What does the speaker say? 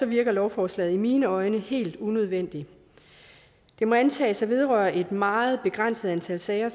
virker lovforslaget i mine øjne helt unødvendigt det må antages at vedrøre et meget begrænset antal sager